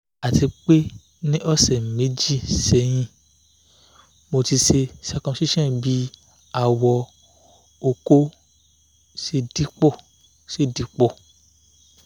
atipe ni ose meji sehin mo ti se circumcision bi awo oko mi o dipo